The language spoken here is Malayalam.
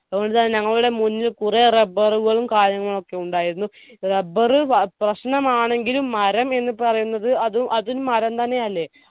അതുകൊണ്ട് തന്നെ ഞങ്ങളുടെ മുന്നിൽ കുറെ rubber ഉകളും കാര്യങ്ങളൊക്കെ ഉണ്ടായിരുന്നു rubber പ പ്രശ്നമാണെങ്കിലും മരം എന്ന് പറയുന്നത് അതും അത് മരം തന്നെയല്ലേ